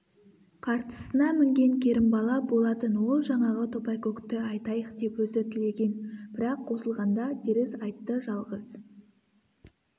қарсысына мінген керімбала болатын ол жаңағы топайкөкті айтайық деп өзі тілеген бірақ қосылғанда теріс айтты жалғыз